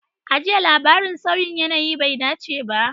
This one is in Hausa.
A jiya, labarin sauyin yanayi bai dace ba.